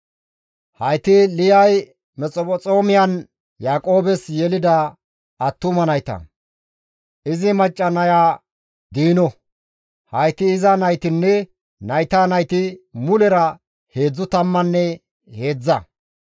Hayti Liyay Mesphexoomiyan Yaaqoobes yelida attuma nayta; izi macca naya Diino. Hayti iza naytinne nayta nayti mulera heedzdzu tammanne heedzdza.